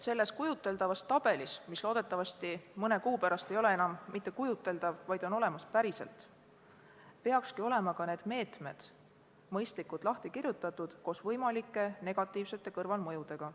Selles kujuteldavas tabelis, mis loodetavasti mõne kuu pärast ei ole enam kujuteldav, vaid on päriselt olemas, peaksidki olema need meetmed mõistlikult lahti kirjutatud koos võimalike negatiivsete kõrvalmõjudega.